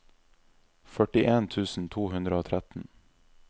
førtien tusen to hundre og tretten